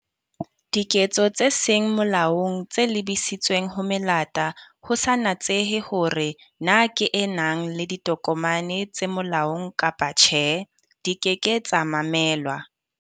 Diketso tse seng molaong tse lebisitsweng ho melata, ho sa natsehe hore na ke e nang le ditokomane tse molaong kapa tjhe, di ke ke tsa mamelwa.